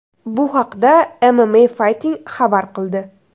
Bu haqda MMA Fighting xabar qildi .